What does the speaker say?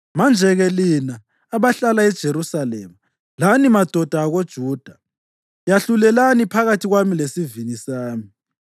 “Manje-ke lina abahlala eJerusalema lani madoda akoJuda, yahlulelani phakathi kwami lesivini sami.